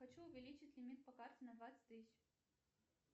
хочу увеличить лимит по карте на двадцать тысяч